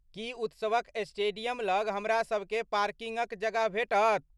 की उत्सवक स्टेडियम लग हमरासभकेँ पार्किंगक जगह भेटत?